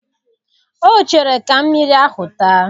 Ọ chere ka mmiri ahụ taa